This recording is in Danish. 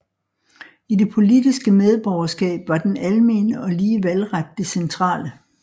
I det politiske medborgerskab var den almene og lige valgret det centrale